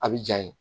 A bi ja ye